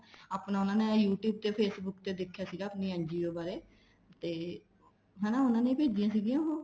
ਆਪਣਾ ਉਹਨਾ youtube ਤੇ facebook ਤੇ ਦੇਖਿਆ ਸੀਗਾ ਆਪਣੀ NGO ਬਾਰੇ ਤੇ ਹਨਾ ਉਹਨਾ ਨੇ ਭੇਜੀਆਂ ਸੀਗੀਆ ਉਹ